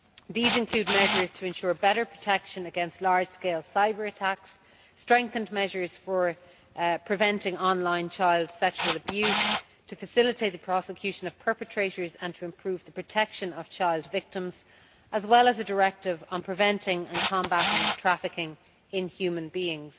These include measures to ensure better protection against large scale cyber attacks, strengthened measures for preventing on line child sexual abuse in order to facilitate the prosecution of perpetrators and improve the protection of child victims, and a Directive on preventing and combating trafficking in human beings.